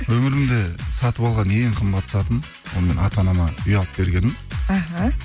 өмірімде сатып алған ең қымбат затым ол менің ата анама үй алып бергенім аха